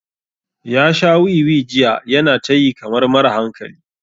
Ya sha wiwi jiya yana ta yi kamar mara hankali.